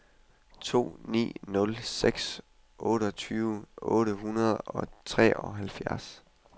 to ni nul seks otteogtyve otte hundrede og treoghalvfjerds